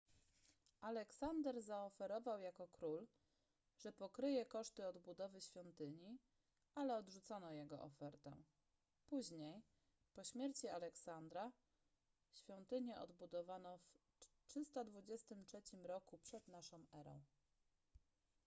aleksander zaoferował jako król że pokryje koszty odbudowy świątyni ale odrzucono jego ofertę później po śmierci aleksandra świątynię odbudowano w 323 r p.n.e